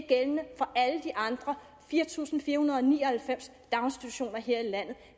gældende for alle de andre fire tusind fire hundrede og ni og halvfems daginstitutioner her i landet